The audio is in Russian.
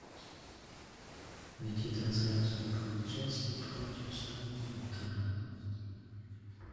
найти трансляцию апл челси против саутгемптона